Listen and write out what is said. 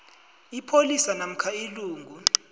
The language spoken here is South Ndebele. ipholisa namkha ilungu